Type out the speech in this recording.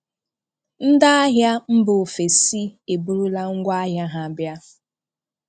Ndị́ ahị́á Ndị́ ahị́á mbà òfèsí èbúrúlá ṅgwá áhị́a ha bịa